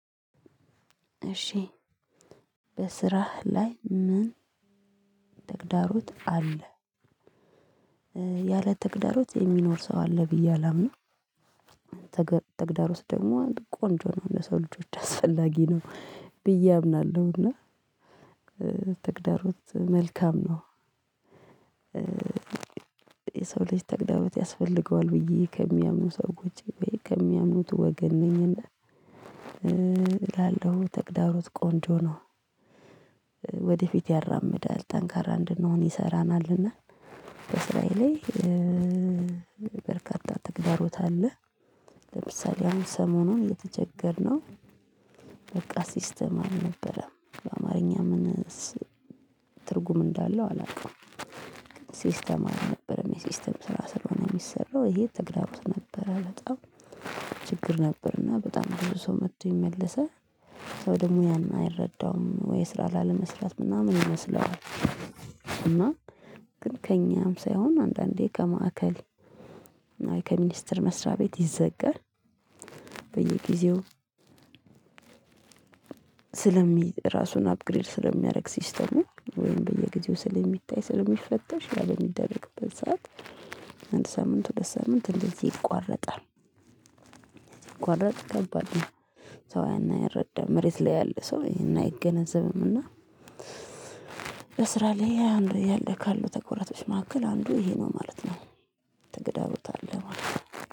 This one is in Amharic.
እሺ በስራህ ላይ ምን ተግዳሮት አለ? ያለ ተግዳሮት የሚኖር ሰው አለ ብዬ አላምንም። ተግዳሮት ደግሞ ቆንጆ ነው ለሰው ልጆች አስፈላጊ ነው። ብዬ አምናለሁ እና ተግዳሮት መልካም ነው። የሰው ልጅ ተግዳሮት ያስፈልገዋል ብዬ ከሚያምኑ ሰዎች ወይ ከሚያምኑት ወገን ነኝና። እላለሁ ተግዳሮት ቆንጆ ነው። ወደፊት ያራምዳል ጠንካራ እንድንሆን ይሰራናልና። በእስራኤል ላይ በርካታ ተግዳሮት አለ። ለምሳሌ አሁን ሰሞኑን የተቸገርነው በቃ ሲስተም አልነበረም ከአማርኛ ምንስ ትርጉም እንዳለው አላውቅም። ሲስተም አልነበረም የሲስተም ስራ ስለሆነ የሚሰራው ይሄ ተግዳሮት ነበር። በጣም ችግር ነበርና በጣም ብዙ ሰብ መጥቶ ይመለሳል። ሰው ደግሞ ያን አይረዳውም ወይ ስራ ላለመስራት ምናምን ይመስለዋል። እና ግን ከእኛም ሳይሆን አንዳንዴ ከማእከል ከሚኒስተር መስሪያ ቤት ይዘጋል። በየጊዜው ስለሚ ራሱን አፕግሬድ ስለሚያደርግ ሲስተሙ ወይም በየጊዜው ስለሚታይ ስለሚፈተሽ ያለ በምንደረግበት ሰዓት አንድ ሳምንት ሁለት ሳምንት እንደዚህ ይቋረጣል። ሲቋረጥ ከባድ ነው። ሰው ያን አይረዳም መሬት ላይ ያለ ሰው አይገነዘብምና። ለስራ ላይ አንዱ ያለ ካሉ ተኩረቶች መካከል አንዱ ይሄ ነው ማለት ነው። ተግዳሮት አለ ማለት ነው።